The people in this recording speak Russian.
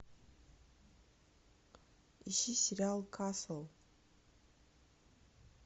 ищи сериал касл